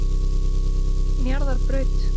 Njarðarbraut